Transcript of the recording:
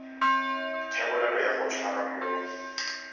thebolelo ya go tshwara moi